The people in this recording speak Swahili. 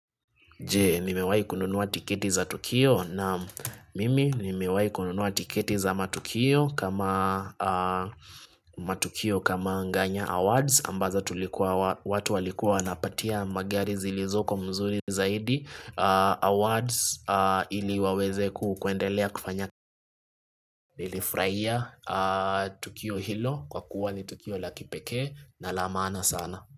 Jee, nimewayi kununuwa tiketi za Tukio naam mimi nimewayi kununuwa tiketi za matukio kama matukio kama nganya awards ambazo watu walikua wanapatia magari zilizoko mzuri zaidi awards ili waweze ku kuendelea kufanya nilifraia Tukio hilo kwa kuwa ni Tukio la kipeke na la maana sana.